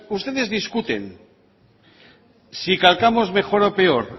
ustedes discuten si calcamos mejor o peor